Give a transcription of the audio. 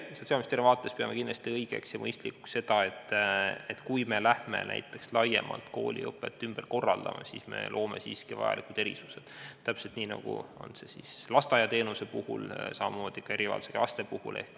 Meie Sotsiaalministeeriumis peame kindlasti õigeks ja mõistlikuks seda, et kui me läheme kooliõpet laiemalt ümber korraldama, siis loome vajalikud erisused, täpselt nii, nagu on lasteaiateenuse puhul, samamoodi ka erivajadusega laste puhul.